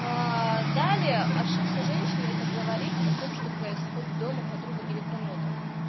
далее ошибка женщины это говорить о том что происходит дома подругам или кому-то